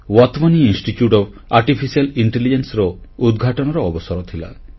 Wadhwani institute of artificial intelligence ର ଉଦ୍ଘାଟନର ଅବସର ଥିଲା